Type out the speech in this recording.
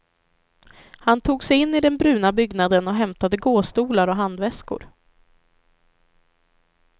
Han tog sig in i den brunna byggnaden och hämtade gåstolar och handväskor.